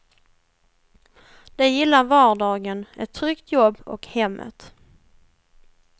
De gillar vardagen, ett tryggt jobb och hemmet.